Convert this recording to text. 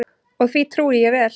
Og því trúi ég vel.